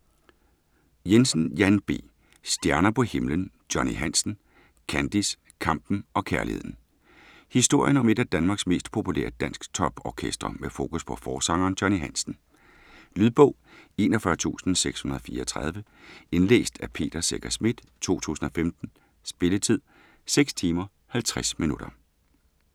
Jensen, Jan B.: Stjerner på himlen: Johnny Hansen - Kandis, kampen og kærligheden Historien om et af Danmarks mest populære dansktop-orkestre, med fokus på forsangeren Johnny Hansen. Lydbog 41634 Indlæst af Peter Secher Schmidt, 2015. Spilletid: 6 timer, 50 minutter.